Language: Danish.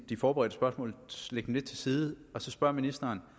de forberedte spørgsmål lidt til side og spørge ministeren